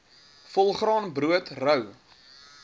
volgraan brood rou